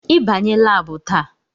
Ị banye laabu taa!